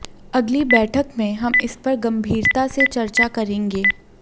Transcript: अगली बैठक में हम इस पर गंभीरता से चर्चा करेंगे